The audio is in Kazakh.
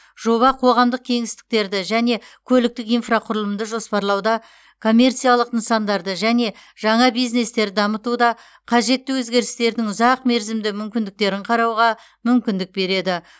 жоба қоғамдық кеңістіктерді және көліктік инфрақұрылымды жоспарлауда коммерциялық нысандарды және жаңа бизнестерді дамытуда қажетті өзгерістердің ұзақмерзімді мүмкіндіктерін қарауға мүмкіндік береді